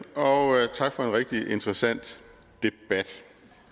og tak for en rigtig interessant debat